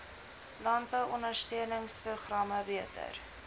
landbou ondersteuningsprogramme beter